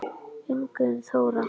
Ingunn Þóra.